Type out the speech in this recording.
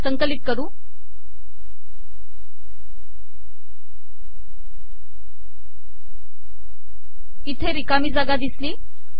संकिलत कर इथे िरकामी जागा िदसली